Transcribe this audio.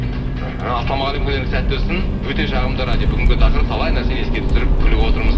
іхі ассалаумағалейкум күндеріңіз сәтті өтсін өте жағымды радио бүгінгі тақырып талай нәрсені еске түсіріп күліп отырмыз